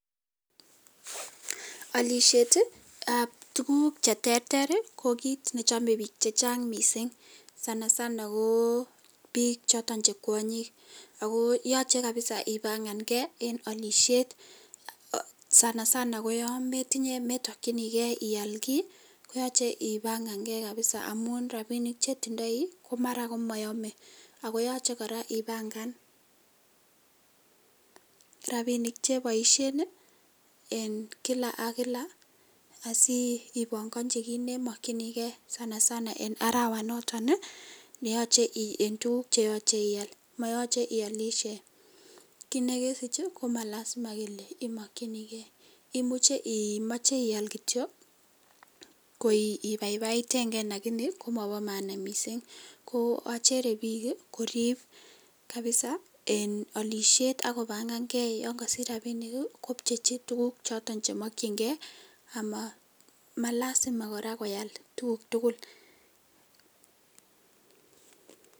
Olishetab tukuk cheterter ko kiit nechome biik chechang mising sana sana ko biik choton che kwonyik ak ko yoche kabisa ibang'anke en olishet sana sana ko yoon metokyinike ial kii koyoche ibang'an Kee kabisa amun rabinik chetindoi komara komoyome ako yoche kora ibang'an rabinik cheboishen en kila ak kila asi ibong'onchi kiit nemokyinike sana sana en arawanoton neyoche en tukuk cheche ial, moyoche iolishe, kiit nekesich ii komalasima kelee imokyinike imuche imoche ial kityo ko ibaibaiteng'e lakini komobomaana mising, ko achere biik koriib kabisa en olishet ak kobang'ang'e yoon kosich rabinik kopchechi tukuk choton chemokying'e amalasima kora ko ial tukuk tukul.